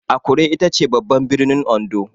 Akure itace babban birnin Ondo.